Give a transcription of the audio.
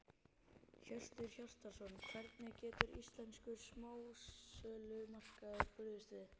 Hjörtur Hjartarson: Hvernig getur íslenskur smásölumarkaður brugðist við?